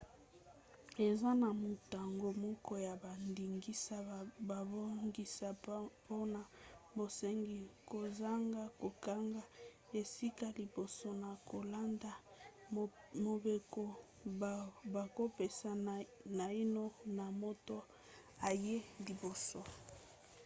eza na mantango moke ya bandingisa babongisa mpona bosengi kozanga kokanga esika liboso na kolanda mobeko bakopesa naino na moto ayei liboso